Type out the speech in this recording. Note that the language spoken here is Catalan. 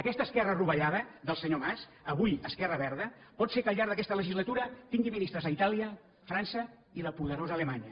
aquesta esquerra rovellada del senyor mas avui esquerra verda pot ser que al llarg d’aquesta legislatura tingui ministres a itàlia a frança i a la poderosa alemanya